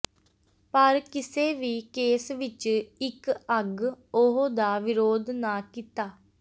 ਪਰ ਕਿਸੇ ਵੀ ਕੇਸ ਵਿੱਚ ਇੱਕ ਅੱਗ ਉਹ ਦਾ ਵਿਰੋਧ ਨਾ ਕੀਤਾ